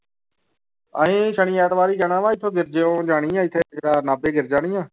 ਅਸੀਂ ਸਨੀ ਐਤਵਾਰ ਹੀ ਜਾਣਾ ਵਾਂ ਇੱਥੋਂ ਗਿਰਜਿਓਂ ਜਾਣੀ ਆਂ ਇੱਥੇ ਜਿਹੜਾ ਨਾਭੇ ਗਿਰਜ਼ਾ ਨੀ ਹੈ।